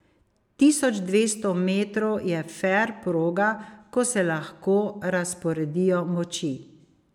Tisoč dvesto metrov je fer proga, ko se lahko razporedijo moči.